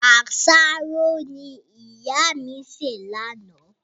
Àsáró ni ìyá mi ṣe láánaà